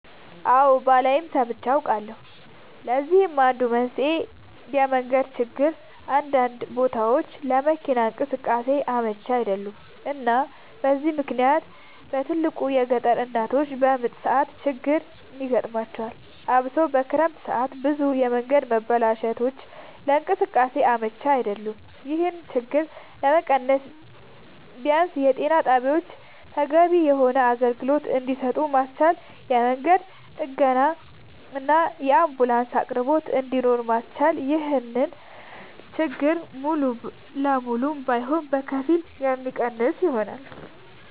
አወ ባላይም ሰምቼ አውቃለሁኝ ለዚህም አንዱ መንስኤ የመንገድ ችግር አንዳንድ ቦታወች ለመኪና እንቅስቃሴ አመች አይደሉም እና በዚህ ምክንያት በትልቁ የገጠር እናቶች በምጥ ሰዓት ችግር ይገጥማቸዋል አብሶ በክረምት ሰዓት ብዙ የመንገድ መበላሸቶች ለእንቅስቃሴ አመች አይደሉም ይሄን ችግር ለመቀነስ ቢያንስ ጤና ጣቢያወችን ተገቢውን የሆነ አገልግሎት እንድሰጡ ማስቻልና የመንገድ ጥገናና የአንቡላንስ አቅርቦት እንድኖር ማስቻል ይሄን ችግር ሙሉ ለሙሉ ባይሆንም በከፊል የሚቀንሰው ይሆናል